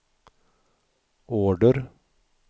order